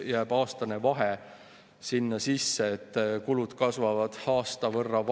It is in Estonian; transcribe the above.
Seega käibemaksu suurendamine ja ühtse tulumaksuvaba summa võib luua olukorra, kus suhteliselt suuremat koormat kannavad madalama sissetulekuga inimesed.